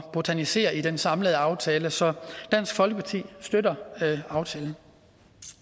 botanisere i den samlede aftale så dansk folkeparti støtter aftalen